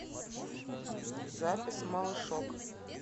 запись малышок